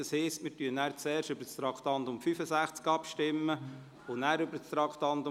Das heisst, wir stimmen zuerst über das Traktandum 65 ab und nachher über das Traktandum 64.